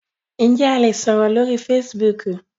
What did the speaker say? Njẹ a le sọrọ lori Fèsìbúukù?